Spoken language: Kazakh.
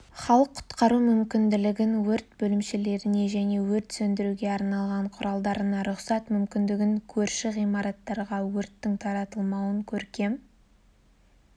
халық құтқару мүмкінлігін өрт бөлімшелеріне және өрт сөндіруге арналған құралдарына рұқсат мүмкіндігін көрші ғимараттарға өрттің таратылмауын көркем